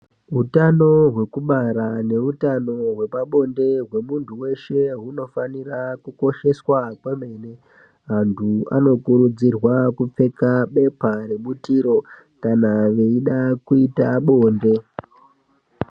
Utano hwekubara neutano hwepabonde hwemunhu weshe hunofanira kukosheswa kwemene antu anokurudzirwa kupfeka bepha rebutiro kana veida kuita bonde.